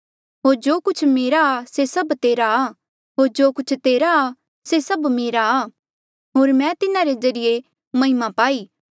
होर जो कुछ मेरा आ से सब तेरा आ होर जो कुछ तेरा आ से मेरा आ होर मैं तिन्हारे जरिये महिमा पाई